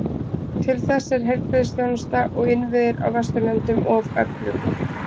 Til þess er heilbrigðisþjónusta og innviðir á Vesturlöndum of öflug.